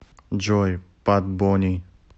джой пат бони